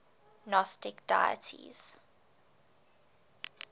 gnostic deities